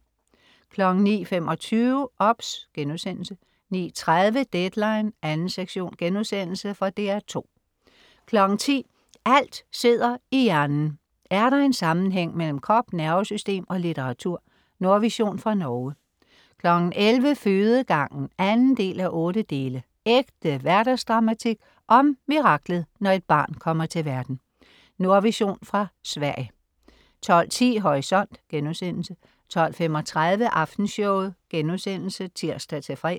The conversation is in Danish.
09.25 OBS* 09.30 Deadline 2. sektion.* Fra DR2 10.00 Alt sidder i hjernen. Er der en sammenhæng mellem krop, nervesystem og litteratur? Nordvision fra Norge 11.00 Fødegangen 2:8. Ægte hverdagsdramatik om miraklet, når et barn kommer til verden. Nordvision fra Sverige 12.10 Horisont* 12.35 Aftenshowet* (tirs-fre)